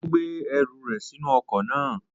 Ó gbé ẹrù rẹ̀ sínú ọkọ̀ náà.